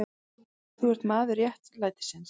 Þú ert maður réttlætisins.